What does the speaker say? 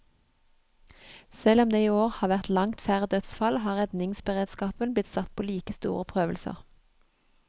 Selv om det i år har vært langt færre dødsfall, har redningsberedskapen blitt satt på like store prøvelser.